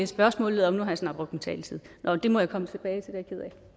spørgsmålet om nu har jeg snart brugt min taletid nå det må jeg komme tilbage